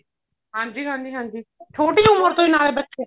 ਹਾਂਜੀ ਹਾਂਜੀ ਹਾਂਜੀ ਛੋਟੀ ਉਮਰ ਤੋਂ ਹੀ ਨਾਲੇ ਬੱਚੇ